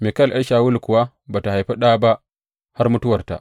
Mikal ’yar Shawulu kuwa ba tă haifi ɗa ba har mutuwarta.